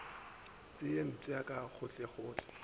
se ye mpsha ka gohlegohle